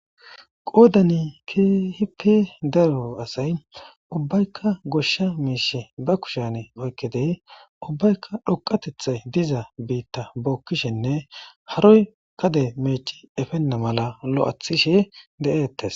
Qoodani kehipi daro asay ubbaykka goshsha miishe ba kushan oykkedey ubbaykka dhoqatethay diza biitta bookkishenne haroy kade meeci efenna mala lo'athishe de'eettes.